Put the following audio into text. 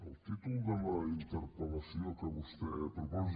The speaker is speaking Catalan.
el títol de la interpelque vostè proposa